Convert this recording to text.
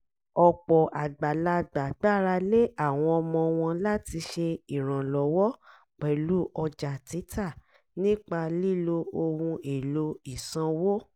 ọ̀pọ̀ àgbàlagbà gbára lé àwọn ọmọ wọn láti ṣe ìrànlọ́wọ́ pẹ̀lú ọjà títà nípa lílo ohun èlò ìsanwó